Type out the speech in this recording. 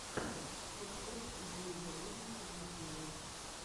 топ топ идеи для бизнеса в ютубе